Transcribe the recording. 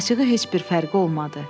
Acığı heç bir fərqi olmadı.